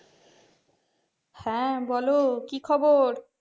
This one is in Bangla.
হ্যাঁ বলো কি খবর?